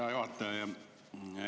Hea juhataja!